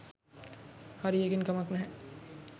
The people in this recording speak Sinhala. හරි එකෙන් කමක් නැහැ